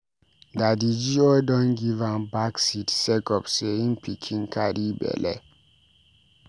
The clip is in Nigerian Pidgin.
Daddy G.O don give am back seat sake of sey im pikin carry belle.